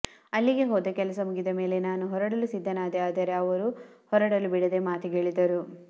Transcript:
ಅಲ್ಲಿಗೆ ಹೋದ ಕೆಲಸ ಮುಗಿದ ಮೇಲೆ ನಾನು ಹೊರಡಲು ಸಿದ್ಧನಾದೆ ಆದರೆ ಅವರು ಹೊರಡಲು ಬಿಡದೇ ಮಾತಿಗಿಳಿದರು